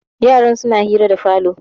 yaran suna hira da falo